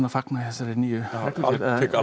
fagna ég þessari nýju reglugerð